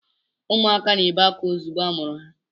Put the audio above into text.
Ụmụaka na-ebe akwa ozugbo amụrụ ha.